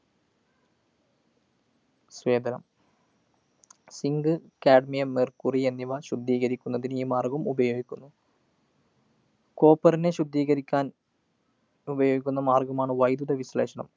സ്വേദനം. zinccadmiummercury എന്നിവ ശുദ്ധീകരിക്കുന്നതിന് ഈ മാര്‍ഗ്ഗം ഉപയോഗിക്കുന്നു. copper നെ ശുദ്ധീകരിക്കാന്‍ ഉപയോഗിക്കുന്ന മാര്‍ഗ്ഗമാണ് വൈദ്യുത വിശ്ലേഷണം.